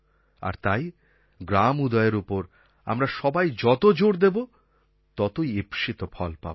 আর তাই গ্রাম উদয়ের ওপর আমরা সবাই যত জোর দেব ততই ঈপ্সিত ফল পাব